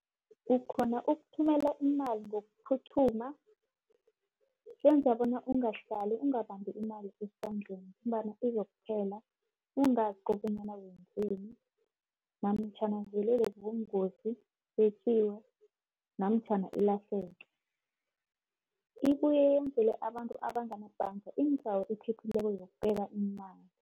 Ukghona ukuthumela imali ngokuphuma, kwenza bona ungahlali ungabambi imali esandleni, imali izokuphela ungazi kobonyana wemzeni, namtjhana uvelelwe yingozi yetjiwe, namtjhana ilahleke. Ibuye yenzele abantu abangana bhanga indawo ephephileko yokubeka imali.